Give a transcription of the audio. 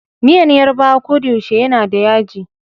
Miyan Yarbawa kodayaushe yanada yaji.